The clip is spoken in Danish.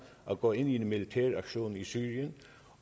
at gå i militær aktion i syrien